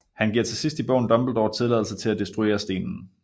Han giver til sidst i bogen Dumbledore tilladelse til at destruere stenen